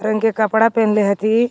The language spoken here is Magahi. रंग के कपड़ा पेनले हथि.